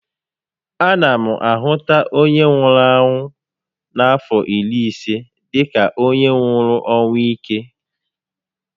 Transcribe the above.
A na a hụta onye nwụrụ ọnwụ n'afọ iri ise dịka onye nwụrụ ọnwụ íke